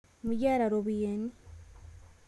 Mikiata ropiyiani